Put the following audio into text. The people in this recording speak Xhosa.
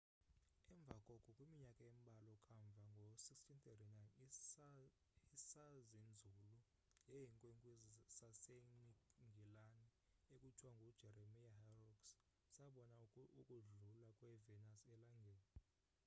emva koko kwiminyaka embalwa kamva ngo-1639 isazinzulu ngeenkwenkwezi sasengilani ekuthiwa ngujeremiah horrocks sabona ukudlula kwe-venus elangeni